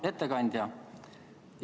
Hea ettekandja!